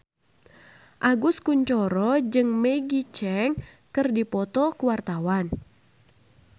Agus Kuncoro jeung Maggie Cheung keur dipoto ku wartawan